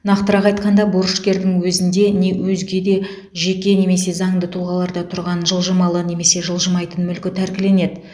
нақтырақ айтқанда борышкердің өзінде не өзге де жеке немесе заңды тұлғаларда тұрған жылжымалы немесе жылжымайтын мүлкі тәркіленеді